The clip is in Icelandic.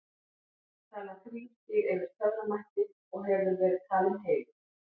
talan þrír býr yfir töframætti og hefur verið talin heilög